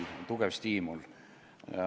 See oli tugev stiimul.